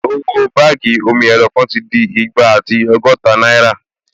Owó báàgì omi-ẹ̀rọ kan ti di igba àti ọgọ́ta náírà